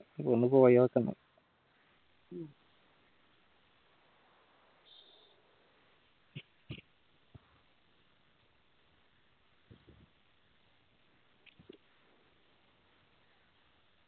ഇയ്യ്‌ ഒന്ന് പോയൊക്കൊന്ന്